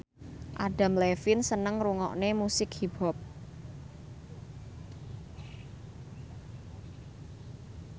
Adam Levine seneng ngrungokne musik hip hop